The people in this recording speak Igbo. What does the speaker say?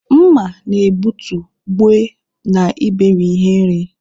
Mma na-egbutu, gbue, na iberi ihe nri.